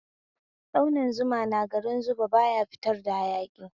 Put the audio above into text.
Tsauni Zuma na garin Zuba baya fitar da hayaki